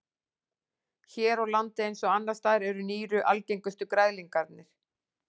Hér á landi eins og annars staðar eru nýru algengustu græðlingarnir.